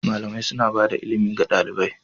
Malamai suna bada ilimi ga ɗalibai.